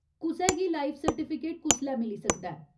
कुसै गी life certificate कुसलै मिली सकदा ऐ ?